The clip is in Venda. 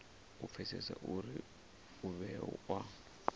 u pfesesa uri u vhewa